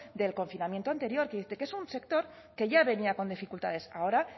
del confinamiento anterior que es un sector que ya venía con dificultades ahora